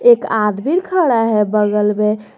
एक आदमी खड़ा है बगल में।